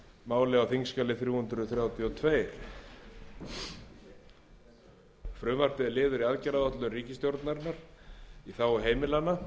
þingsins á þingskjali þrjú hundruð þrjátíu og tvö frumvarpið er liður í aðgerðaáætlun ríkisstjórnarinnar í þágu heimilanna